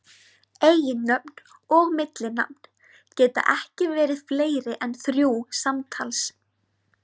Eiginnöfn og millinafn geta ekki verið fleiri en þrjú samtals.